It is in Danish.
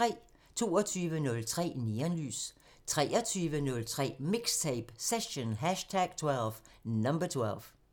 22:03: Neonlys 23:03: MIXTAPE – Session #12